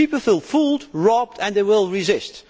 People feel fooled, robbed and they will resist.